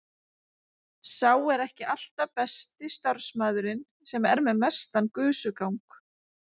Sá er ekki alltaf besti starfsmaðurinn sem er með mestan gusugang.